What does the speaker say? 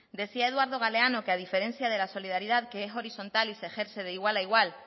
decía eduardo galeano que a diferencia de la solidaridad que es horizontal y se ejerce de igual a igual